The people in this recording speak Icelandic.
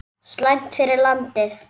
Slæmt fyrir landið!